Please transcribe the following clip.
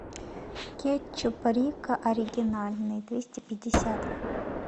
кетчуп рикко оригинальный двести пятьдесят